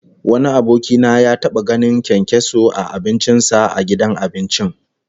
Wani aboki na ya taba ganin kyankyaso a abincin sa a gidan abinci